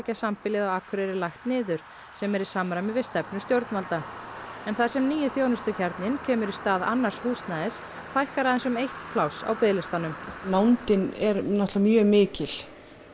herbergjasambýlið á Akureyri lagt niður sem er í samræmi við stefnu stjórnvalda en þar sem nýi þjónustukjarninn kemur í stað annars húsnæðis fækkar aðeins um eitt pláss á biðlistanum nándin er náttúrulega mjög mikil